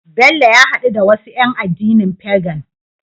Bello ya hadu da wasu yan addinin Pagan